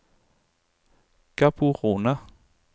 Gaborone